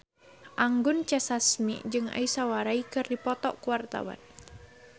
Anggun C. Sasmi jeung Aishwarya Rai keur dipoto ku wartawan